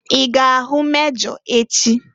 I ga-ahụ mejọ echị?